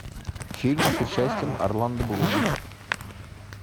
фильм с участием орландо блума